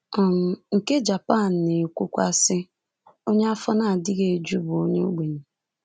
um Nke Japan na-ekwukwa, sị: “Onye afọ na-adịghị eju bụ ogbenye.